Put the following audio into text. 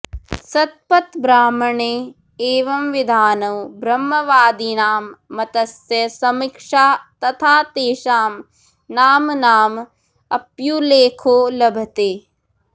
शतपथब्राह्मणे एवंविधानों ब्रह्मवादिनां मतस्य समीक्षा तथा तेषां नाम्नाम् अप्युल्लेखो लभते